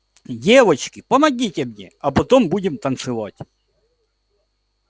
девочки помогите мне а потом будем танцевать